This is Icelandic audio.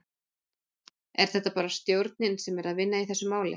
Er þetta bara stjórnin sem er að vinna í þessu máli?